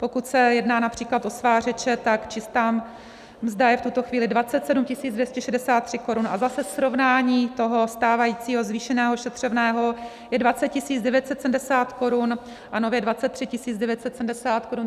Pokud se jedná například o svářeče, tak čistá mzda je v tuto chvíli 27 263 korun a zase srovnání toho stávajícího zvýšeného ošetřovného je 20 970 korun a nově 23 970 korun.